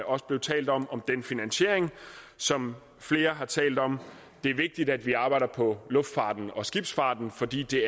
også blev talt om den finansiering som flere har talt om det er vigtigt at vi arbejder på luftfarten og skibsfarten fordi det